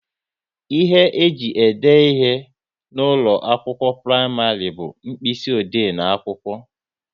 Ihe ji ede ihe n'ụlọ akwụkwọ praịmarị bu mkpịsị ode n'akwụkwọ